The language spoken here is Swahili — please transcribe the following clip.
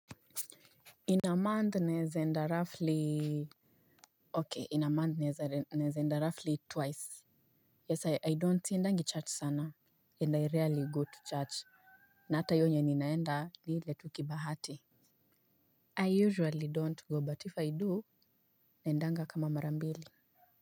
In a month naweza enda roughly Ok in a month naweza enda roughly twice Yes I don't siendangi church sana And I rarely go to church. Na ata hiyo yenye ninaenda ni ile tu kibahati I usually don't go but if I do naendanga kama mara mbili.